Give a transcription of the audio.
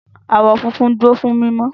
Àwọ̀ funfun dúró fún mímọ́.